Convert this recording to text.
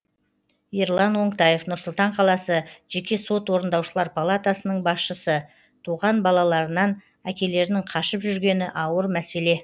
ерлан оңтаев нұр сұлтан қаласы жеке сот орындаушылар палатасының басшысы туған балаларынан әкелерінің қашып жүргені ауыр мәселе